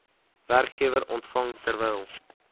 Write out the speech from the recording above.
werkgewer ontvang terwyl